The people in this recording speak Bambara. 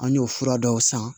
An y'o fura dɔw san